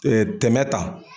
tɛmɛ ta.